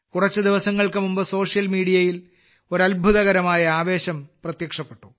കുറച്ച് ദിവസങ്ങൾക്ക് മുമ്പ് സോഷ്യൽ മീഡിയയിൽ ഒരു അത്ഭുതകരമായ ആവേശം പ്രത്യക്ഷപ്പെട്ടു